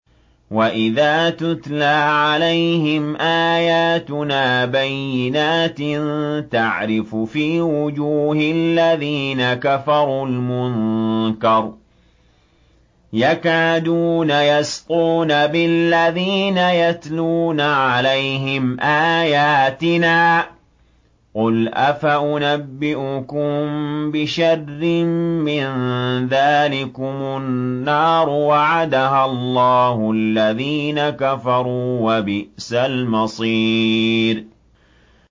وَإِذَا تُتْلَىٰ عَلَيْهِمْ آيَاتُنَا بَيِّنَاتٍ تَعْرِفُ فِي وُجُوهِ الَّذِينَ كَفَرُوا الْمُنكَرَ ۖ يَكَادُونَ يَسْطُونَ بِالَّذِينَ يَتْلُونَ عَلَيْهِمْ آيَاتِنَا ۗ قُلْ أَفَأُنَبِّئُكُم بِشَرٍّ مِّن ذَٰلِكُمُ ۗ النَّارُ وَعَدَهَا اللَّهُ الَّذِينَ كَفَرُوا ۖ وَبِئْسَ الْمَصِيرُ